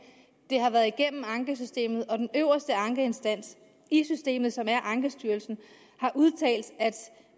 det har været igennem ankesystemet og den øverste ankeinstans i systemet som er ankestyrelsen